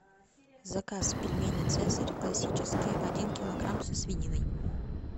заказ пельмени цезарь классические один килограмм со свининой